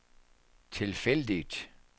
tilfældigt